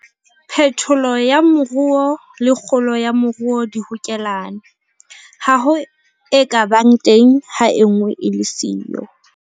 Phetolo ya moruo le kgolo ya moruo di hokelane. Ha ho e ka bang teng ha e nngwe e le siyo.